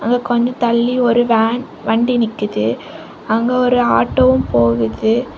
அங்க கொஞ்ஜோ தள்ளி ஒரு வேன் வண்டி நிக்கிது அங்க ஒரு ஆட்டோவும் போகுது.